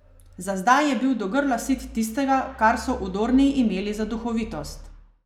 Za zdaj je bil do grla sit tistega, kar so v Dorniji imeli za duhovitost.